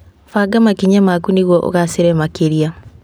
Banga makinya maku nĩguo ũgacĩre makĩria.